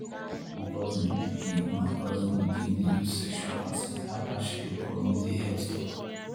my cousin begin my cousin begin dey use sexual consent after she go community health talk.